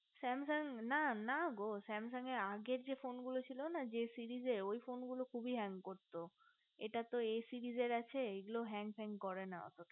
samsung না না গো samsung এর আগে যে phone গুলো ছিল না যে series ওই phone গুলো খুবই hang করতো এটা তো series এই আছে এ গুলো hang tang করে না এত